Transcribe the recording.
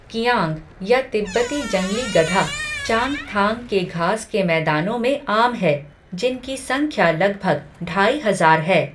किआंग, या तिब्बती जंगली गधा, चांगथांग के घास के मैदानों में आम है, जिनकी संख्या लगभग ढाई हजार है।